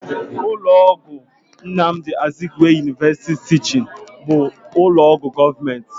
Ụlọ ọgwụ Nnamdi Azikiwe University Teaching bụ ụdị ụlọọgwụ gọọmentị